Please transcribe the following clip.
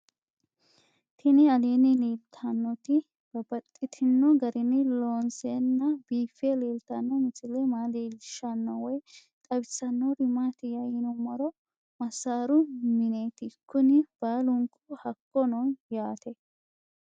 Tinni aleenni leelittannotti babaxxittinno garinni loonseenna biiffe leelittanno misile maa leelishshanno woy xawisannori maattiya yinummoro masaaru mineetti kunni baallunku hakko noo yaatte